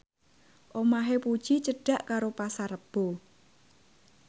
omahe Puji cedhak karo Pasar Rebo